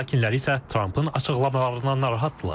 Moskva sakinləri isə Trampın açıqlamalarından narahatdırlar.